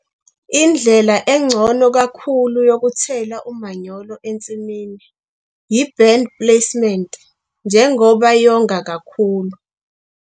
Indlela engcono kakhulu yokuthela umanyolo ensimini yi-band placement njengoba yonga kakhulu.